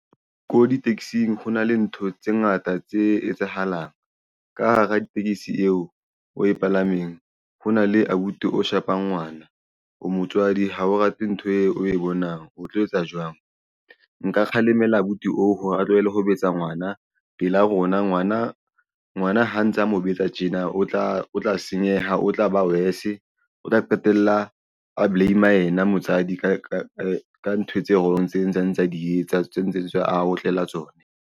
Ko di-taxi-ng hona le ntho tse ngata tse etsahalang ka hara tekesi eo o e palameng. Ho na le abuti o shapang ngwana o motswadi ha o rate ntho eo o e bonang o tlo etsa jwang nka kgalemela abuti oo hore a tlohele ho betsa ngwana pela rona. Ngwana ha ntsa a mo betsa tjena o tla o tla senyeha o tla ba worse o tla qetella a blame-a yena motswadi ka ntho tse wrong tseo a ntse a di etsa tse ntseng a otlela tsona.